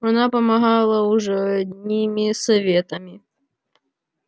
она помогала уже одними советами